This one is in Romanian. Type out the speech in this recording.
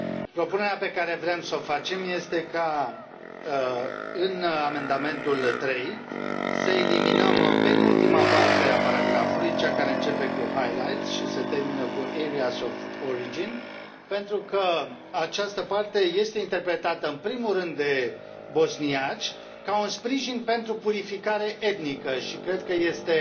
Propunerea pe care vrem să o facem este ca, în amendamentul 3, să eliminam penultima parte a paragrafului, cea care începe cu highlights și se termină cu areas of origin, pentru că această parte este interpretată în primul rând de bosniaci ca un sprijin pentru purificare etnică și cred că este